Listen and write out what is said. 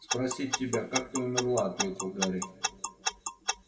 спросить тебя как ты умерла ответил гарри